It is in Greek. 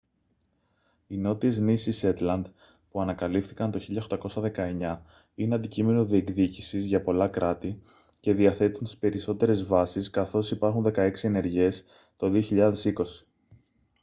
οι νότιες νήσοι σέτλαντ που ανακαλύφθηκαν το 1819 είναι αντικείμενο διεκδίκησης για πολλά κράτη και διαθέτουν τις περισσότερες βάσεις καθώς υπάρχουν δεκαέξι ενεργές το 2020